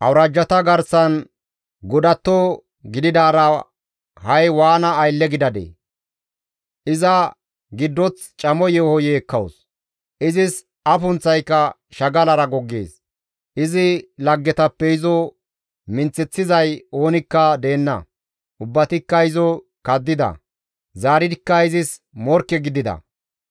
Iza giddoththi camo yeeho yeekkawus; izis afunththayka shagalara goggees; izi laggetappe izo minththeththizay oonikka deenna; ubbatikka izo kaddida; zaaridikka izis morkke gidida.